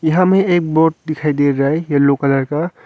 यहाँ में एक बोर्ड दिखाई दे रहा है येलो कलर का।